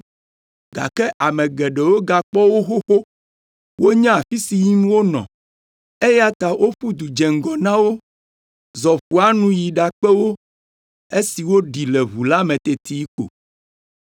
gake ame geɖewo gakpɔ wo xoxo, wonya afi si yim wonɔ, eya ta woƒu du dze ŋgɔ na wo, zɔ ƒua nu yi ɖakpe wo esi woɖi le ʋu la me teti ko.